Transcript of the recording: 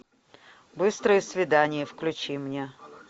быстрые свидания включи мне